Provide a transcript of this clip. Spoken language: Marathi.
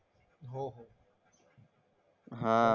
हां.